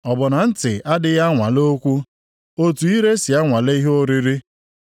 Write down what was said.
Ọ bụ na ntị adịghị anwale okwu, otu ire si anwale ihe oriri?